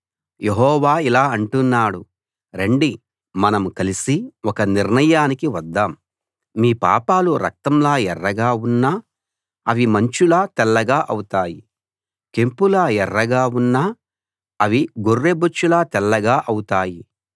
యెహోవా ఇలా అంటున్నాడు రండి మనం కలిసి ఒక నిర్ణయానికి వద్దాం మీ పాపాలు రక్తంలా ఎర్రగా ఉన్నా అవి మంచులా తెల్లగా అవుతాయి కెంపులా ఎర్రగా ఉన్నా అవి గొర్రెబొచ్చులా తెల్లగా ఔతాయి